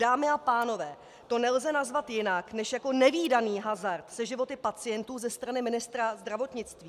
Dámy a pánové, to nelze nazvat jinak než jako nevídaný hazard se životy pacientů ze strany ministra zdravotnictví.